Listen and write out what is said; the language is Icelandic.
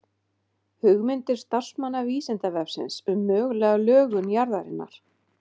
Hugmyndir starfsmanna Vísindavefsins um mögulega lögun jarðarinnar.